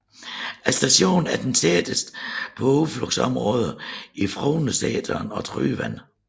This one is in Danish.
Stationen er den tætteste på udflugtsområderne Frognerseteren og Tryvann